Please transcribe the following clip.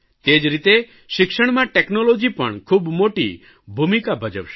તે જ રીતે શિક્ષણમાં ટેકનોલોજી પણ ખૂબ મોટી ભૂમિકા ભજવશે